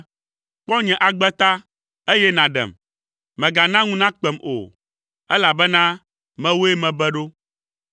Kpɔ nye agbe ta, eye nàɖem; megana ŋu nakpem o, elabena mewòe mebe ɖo.